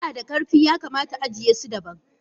Kusa nada karfi yakamata ajiye su daban.